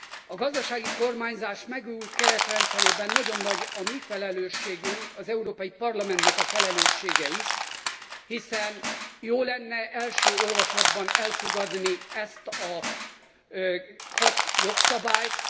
A gazdasági kormányzás megújult keretrendszerében nagyon nagy a mi felelősségünk, az Európai Parlamentnek a felelőssége is, hiszen jó lenne első olvasatban elfogadni ezt a hat jogszabályt.